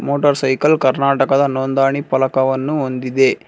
Motor cycle ಕರ್ನಾಟಕದ ನೋಂದಣಿ ಫಲಕವನ್ನು ಹೊಂದಿದೆ.